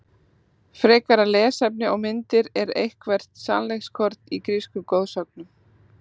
Frekara lesefni og myndir Er eitthvert sannleikskorn í grísku goðsögunum?